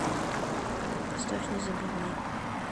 поставь не забывай